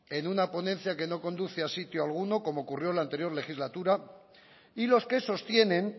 en una ponencia que no conduce a sitio alguno como ocurrió la anterior legislatura y los que sostienen